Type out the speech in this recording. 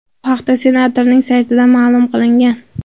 Bu haqda senatorning saytida ma’lum qilingan .